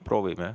Proovime.